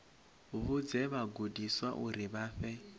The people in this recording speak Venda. vhudze vhagudiswa uri vha fhe